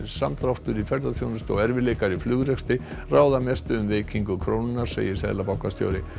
samdráttur í ferðaþjónustu og erfiðleikar í flugrekstri ráða mestu um veikingu krónunnar segir seðlabankastjóri